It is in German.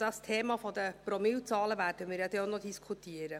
Das Thema der Promillezahlen werden wir ja auch noch diskutieren.